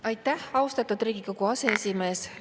Aitäh, austatud Riigikogu aseesimees!